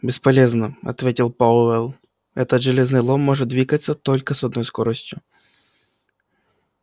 бесполезно ответил пауэлл этот железный лом может двигаться только с одной скоростью